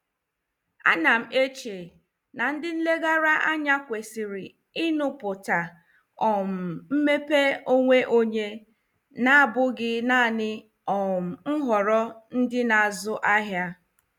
Anam eche na ndị nlegara anya kwesịrị ịṅụ pụta um mmepe onwe onye, na-abụghị naanị um nhọrọ ndị na-azụ ahịa.